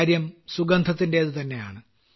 കാര്യം സുഗന്ധത്തിന്റേതുതന്നെയാണ്